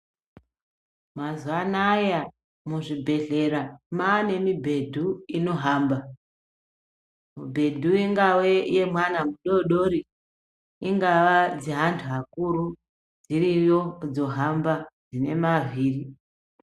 Mazuwanaya muzvibhedhlera maane mibhedhu inohamba , mibhedhu I gave yemwana mudoridori, ingava dzevantu vakuru dziriyo dzohamba dzine mavhiri.